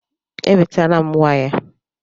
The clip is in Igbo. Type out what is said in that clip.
Ewetala m waya